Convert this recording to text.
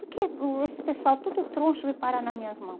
Por que o esse pessoal tudo troncho veio parar nas minhas mãos?